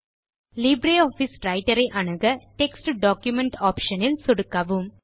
Libre office writer ஐ அணுக text document option இல் சொடுக்கவும்